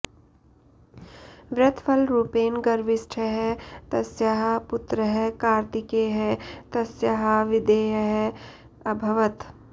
व्रतफलरूपेण गर्विष्ठः तस्याः पुत्रः कार्तिकेयः तस्याः विधेयः अभवत्